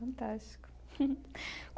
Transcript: Fantástico.